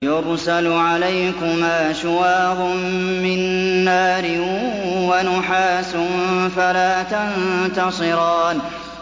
يُرْسَلُ عَلَيْكُمَا شُوَاظٌ مِّن نَّارٍ وَنُحَاسٌ فَلَا تَنتَصِرَانِ